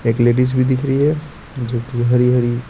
एक लेडीज भी दिख रही है जो कि हरी-हरी --